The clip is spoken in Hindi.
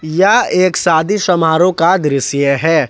यह एक शादी समारोह का दृश्य है।